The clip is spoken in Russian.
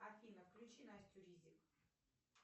афина включи настю ризик